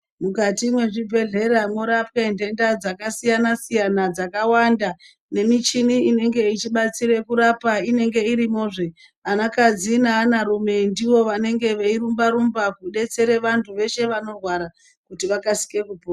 Mukati mwezvibhedhleya mworapwe nhenda dzakasiyana-siyana dzakawanda. Nemichini inenge ichibatsire kurapa inenge irimozve anakadzi neanarume ndivo vanenge veirumba-rumba, kubetsere vantu veshe vanorwara kuti vakasike kupora.